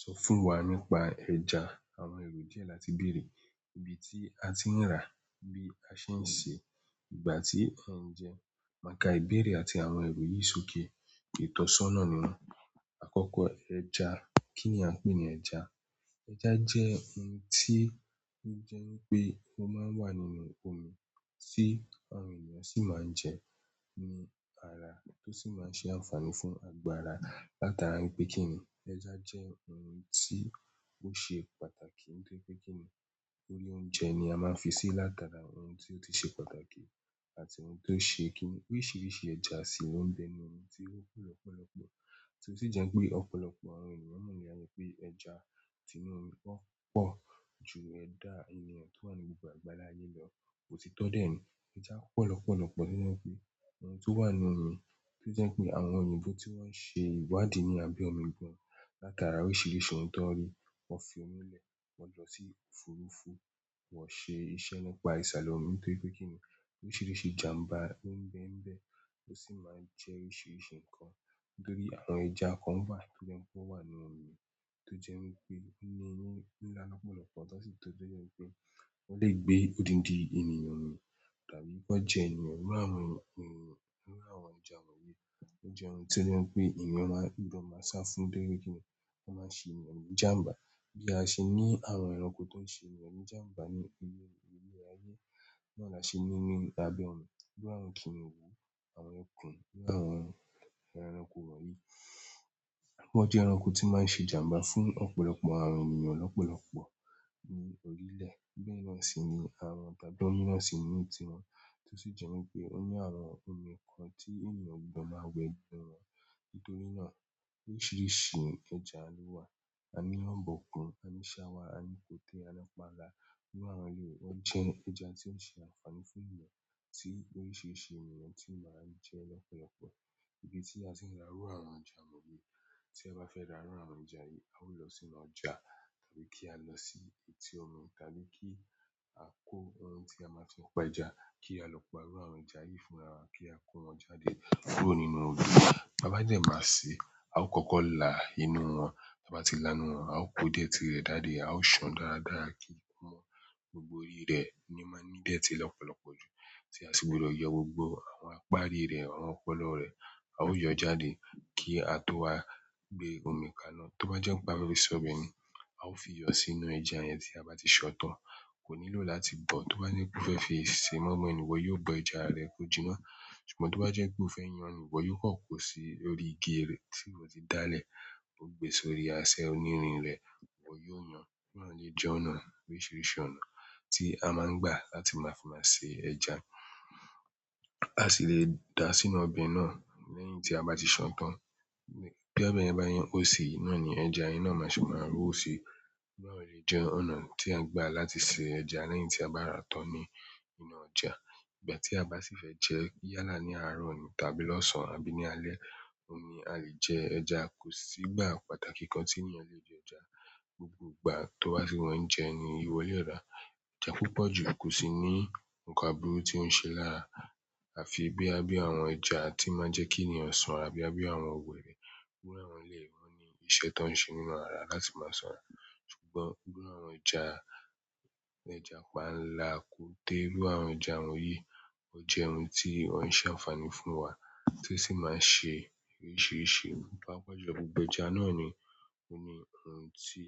Sọ fún wa nípa ẹja, àwọn èrò diẹ́ làti bèrè. Ibi tí a ti ń rà, bí a ṣe ń se, ìgbà tí a ń jẹ, ma ka ìbèèrè àti àwọn èrò yìí sókè. Itosona ni won. Akoko ẹja, kini a n pe ni ẹja. Ẹja jẹ́ ohun tí ó jẹ́ wipé ó máa ń wà nínú omi tí àwọn ènìyàn sì máa ń jẹ, ní ara tó sì máa ń ṣe ànfààní fún agbára. Látara wipé kí ni, ẹja jẹ́ ohun tí ó ṣe pàtàkì. Nítorí pé kí ni orí oúnjẹ ni a máa ń fi sí látara ohun tí ó ti ṣe pàtàkì àti ohun tó ṣe kí ni. Oríṣìíríṣìí ẹja sì ló ń bẹ nínú omi tí ó po lọ́pọ̀lọpọ̀. Tí ó sì jẹ́ pé ọ̀pọ̀lọpọ̀ àwọn ènìyàn mọ̀ ní àyè pé ẹja tì inú omi ò pọ̀ ju ẹ̀dá ènìyàn tó wà ní gbogbo àgbálá ayé lọ. Òtítọ́ dé ẹni. Ẹja pọ̀ lọ́pọ̀lọpọ̀ nínú omi, ohun tó wà nínú omi tó jẹ́ pé àwọn òyìnbó tí wọ́n ṣe ìwadì nínú àbe omi gan. Látara oríṣìíríṣìí ohun tan rí, wọ́n fi omi lẹ̀, wọ́n lọ sí òfurufú, wọ́n ṣe iṣẹ́ nípa ìsàle omi. Nítorí pé kí ni oríṣìíríṣìí ìjàmbá ń bẹ ń bẹ, tó sì máa ń jẹ́ oríṣìíríṣìí nǹkan. Nítorí àwọn ẹja kan wà tó jẹ́ pé ó wà nínú omi, tó jẹ́ wípé ó mi ńinlá lọ́pọ̀lọpọ̀. Tan sì tóbi náà wípé wọ́n lè gbé odindi ènìyàn mi, tàbí ki wọ́n jẹ ènìyàn. Iru àwọn ẹja wọ̀nyí. O je oun to je wípé eyan maa gan maa sa fún torí pe kini? O maa n se ènìyàn ni ìjàmbá bí a ṣe ní àwọn ẹranko tó ń ṣe ènìyàn ní ìjàmbá ní orí ilẹ̀ ayé. Náà là ṣe ní nínú abẹ́ ọmi bí àwọn kìnnìún, àwọn ẹkùn, bí àwọn ẹranko wọ̀nyí. Wọ́n jẹ́ ẹranko tí máa ń ṣe ìjàmbá fún ọ̀pọ̀lọpọ̀ àwọn ènìyàn lọ́pọ̀lọpọ̀ ní orílẹ̀. Bẹ́ẹ̀ náà sì ni àwọn bàbá óní náà sì ní tiwon tí ó sì jẹ́ wípé ó ní àwọn omi kan tí ènìyàn gbọdọ̀ máa wẹ gbọrọ. Nítorí náà oríṣìíríṣìí ẹja ló wà. A ní ọ̀bọ̀kùn, a ní ṣáwá, a ní kòtẹ́, a ní panla. Nínú àwọn eleyìí, wọ́n jẹ́ ẹja tí ó ń ṣe àǹfààní fún ènìyàn. Ti oríṣiríṣi ènìyàn si maa n je lopolopo ibi tí a ti ń ra irú àwọn ẹja wọ̀nyí. Tí ẹ bá fẹ́ ra irú àwọn ẹja yìí, a ó lọ sínú ọjà tàbí kí á lọ sí etí ọmi tàbí kí á kó ohun tí a máa fi pa ẹja, kí á lọ pa àwọn ẹja yìí fúnra wa, kí á kó wọn jáde kúrò nínú odo bá bá dẹ́ máa ṣe, a ó kọ́kọ́ là inú wọn. Ta bá tí là inú wọn, a ó kó idẹ́ẹ̀tì rẹ̀ dáadáa, a ó ṣàn dáradára kí o mọ gbogbo orí rẹ̀ ní o máa ń ní idẹ́ẹ̀tì lọ́pọ̀lọpọ̀ ju. Tí a sì gbúdọ̀ yọ gbogbo àwọn apárí rẹ̀, àwọn ọpọlọ rẹ̀. A ó yọ jáde kí a tó wá gbé omi kaná. Tó bá jẹ́ wípé a fe fi se ọbẹ̀ ni, a ó fi iyọ sínú ẹja yẹn tí a bá ti ṣán tán. Kò nílò láti bọ̀. Tó bá je pé o fẹ́ fi ìṣe mọ́inmoin ni, ìwọ yóò bọ ẹja rẹ kó jiná. Ṣùgbọ́n tó bá jẹ́ pé o fẹ́ yàn ni, iwọ yóò kàn kó sí orí igi rẹ̀ tí iwọ ti dá lẹ̀. Ó gbé e sórí asẹ onírin rẹ̀, ìwọ yóò yàn. Oun náà ni n jẹ́ ọ̀nà oríṣìíríṣìí ọ̀nà tí a máa ń gbà láti máa fi máa ṣe ẹja. A si le da sínú ọbẹ̀ náà lẹ́yìn ti a ba ti san tan bí ọbẹ̀ yẹ bá se ó ṣi, náà ni ẹja yẹn náà maa ṣe máa rú ṣi. Oun náà lè jẹ́ ọ̀nà tí a ń gbà láti ṣe ẹja lẹ́yìn tí a bá rà tán ní inú ọjà. Ìgbà ti a ba si fe je, yálà ni àárọ̀ ni tàbí losan àbí ni alẹ́, oun ni a le je ẹja. Ko si ìgbà pàtàkì kan ti eyan le je ẹja gbogbo ìgbà tó bá tì wun e jẹ ni ìwọ lè rà. Ẹja púpọ̀ jù ko sí ní nǹkan aburú tí ó ń ṣe lára. A fi boya bí àwọn ẹja tí n máa ń jẹ́ kí ènìyàn sanra, boyà bí àwọn wèrè. Iru àwọn eleyi won o ni iṣẹ́ tań ṣe nínú ara láti máa sanra. Ṣùgbọ́n iru àwọn ẹja--- ẹja panla, kòtẹ́, iru àwọn ẹja wọnyií, ó jẹ́ ohun tí ó ń ṣe àǹfààní fún wa tí ó sì máa ń ṣe oríṣìíríṣìí. Paapa jùlọ gbogbo ẹja náà ni o ni oun ti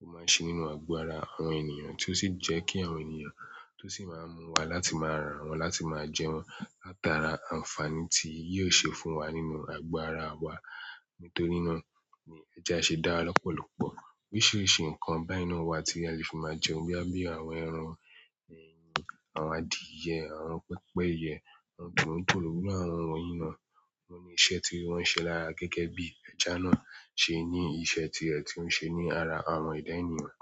o maa n se nínú ago ara àwọn ènìyàn, ti o si je ki àwọn ènìyàn to si maa n mu wa láti maa ra won láti maa je won látara àǹfààní tí yìí ò ṣe fún wa nínú ago ara wa. Nítorí náà ni ẹja ṣe dára lọ́pọ̀lọpọ̀. Oríṣiríṣi nkan beyen náà wa ti a le fi maa jẹun boya bí àwọn ẹran, àwọn adìẹ, àwọn pẹ́pẹ́yẹ, àwọn tòlótòló, iru àwọn wonyiì ná. Wọ́n ní iṣẹ́ tí wọ́n ń ṣe lára gẹ́gẹ́ bí ẹja náà ṣe ní iṣẹ́ tirẹ̀ tí ó ń ṣe ní ara àwọn ẹ̀dá ènìyàn.